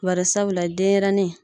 Bari sabula denyɛrɛni.